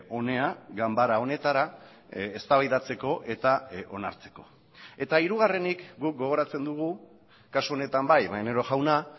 hona ganbara honetara eztabaidatzeko eta onartzeko eta hirugarrenik guk gogoratzen dugu kasu honetan bai maneiro jauna